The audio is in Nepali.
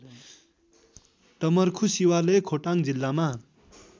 डमर्खुशिवालय खोटाङ जिल्लामा